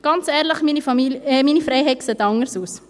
Ganz ehrlich, meine Freiheit sieht anders aus!